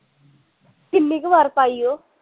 ਕਿੰਨੀ ਕੁ ਵਾਰ ਪਾਈ ਓ